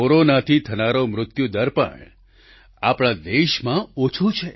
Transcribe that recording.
કોરોનાથી થનારો મૃત્યુ દર પણ આપણા દેશમાં ઘણો ઓછો છે